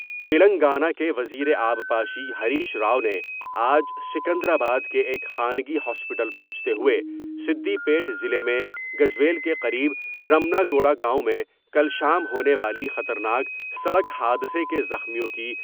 تلنگانہ کے وزیر آبپاشی ہریش راؤ نے آج سکندرآباد کے ایک خانگی ہاسپٹل پہنچتے ہوۓ سدی پیٹ ضلع میں محو میل کے قریب رمنا گوڑہ گاؤں میں کل شام ہونے والی خطر ناک سڑک حادثہ کے زخمیوں